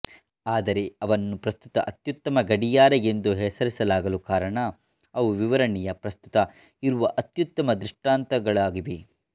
ಆದರೆ ಅವನ್ನು ಪ್ರಸ್ತುತ ಅತ್ಯುತ್ತಮ ಗಡಿಯಾರ ಎಂದು ಹೆಸರಿಸಲಾಗಲು ಕಾರಣ ಅವು ವಿವರಣೆಯ ಪ್ರಸ್ತುತ ಇರುವ ಅತ್ಯುತ್ತಮ ದೃಷ್ಟಾಂತಗಳಾಗಿವೆ